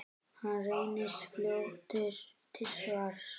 Hann reynist fljótur til svars.